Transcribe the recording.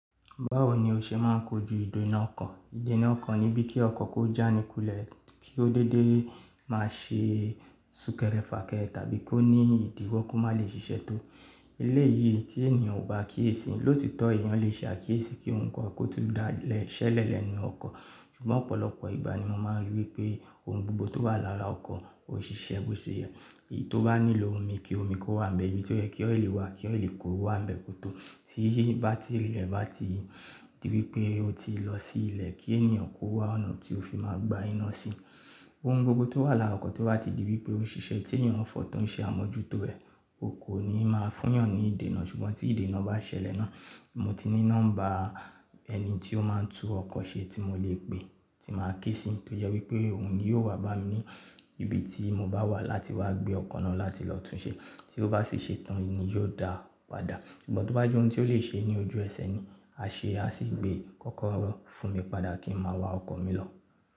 Báwo ni o ṣe máa ń kojú ìdènà ọkọ̀? Ìdènà ọkọ̀ ni bí kí ọkọ̀ kó jànikulẹ̀, kí ó dédé má ṣe súkẹ́rẹ́ fàkẹ́ tàbí kó ní ìdíwọ́ kó má lè ṣiṣẹ́ tó. Eleyii tí ènìyàn ò bá kiyesi, lóòtítọ́ èèyàn lè ṣe àkíyèsí kí ohun kan kó tún daṣẹlẹ̀ lẹ́nu ọkọ̀. Ṣùgbọ́n ọ̀pọ̀lọpọ̀ ìgbà ni mo máa ń rí wípé ohun gbogbo tó wà lára ọkọ̀ ó ṣiṣẹ́ bó ṣe yẹ. Tí ó bá nílò omi, kí omi kó wà n bẹ̀, ibi tí ó yẹ kí ọ́ìlì wà, kí ọ́ìlì kó wà n bẹ̀ kó tó. Tí batiri re bá ti di wípé ó ti lọ sí ilẹ̀, kí ènìyàn kó wá ọ̀nà tí ó fi máa gba iná sí i. Ohun gbogbo tó wà lára ọkọ̀ tí ó bá ti di wípé ó ń ṣiṣẹ́ tí èèyàn fọ tó ń ṣe àmójútó rẹ̀, o kò ní máa fúyàn ní ìdènà. Ṣùgbọ́n tí ìdènà bá ṣẹlẹ̀ náà, mo ti ní nọ́mbà ẹni tí ó máa ń tún ọkọ̀ ṣe tí mo lè pè, tí màá ké sí i tó yẹ wípé òun ni yo wá bá mi ní ibi tí mo bá wà láti wá gbé ọkọ̀ náà láti lọ tún ṣe. Tí ó bá sì ṣe tán nì yóò dáa padà. Ṣùgbọ́n tó bá jẹ́ ohun tí ó lè ṣe ní ojú ẹsẹ̀ ni, a ṣe a sì gbé kọ́kọ́rọ́ fún mi padà kí n máa wa ọkọ̀ mi lọ.